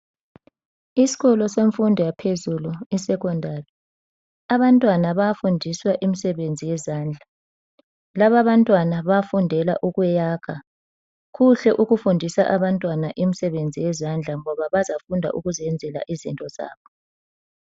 Isikolo semfundo yaphezulu esecondary abantwana bayafundiswa imsebenzi yezandla. Laba abantwana bafundela ukwakha, kuhle ukufundisa abantwana imsebenzi yezandla ngoba bazafunda ukuzenzela izinto zabo.